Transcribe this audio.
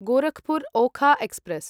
Gorakhpur Okha express